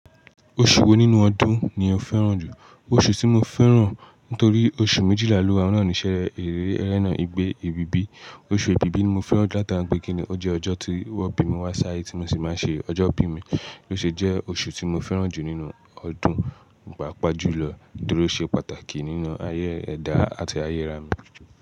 Oṣù wo nínú ọdún ni o fẹ́ràn jù? Oṣù tí mo fẹ́ràn nítorí oṣù méjìlá ló ohun naa nísẹ́ eré ẹlẹ́naà igbe, èbìbí. Oṣù èbìbí ni mo fẹ́ràn nitori pe kinni ó jẹ́ ọjọ́ tí wọ́n bí mi wá sí ayé tí mo sì máa ń ṣe ọjọ́ ìbí mi. Ó sì jẹ́ oṣù tí mo fẹ́ràn jù nínú ọdún, pàápàá jùlọ nítorí ó ṣe pàtàkì nínú ayé ẹ̀dá àti ayé.